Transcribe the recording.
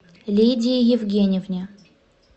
лидии евгеньевне